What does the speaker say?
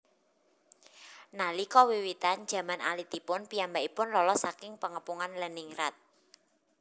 Nalika wiwitan jaman alitipun piyambakipun lolos saking Pengepungan Leningrad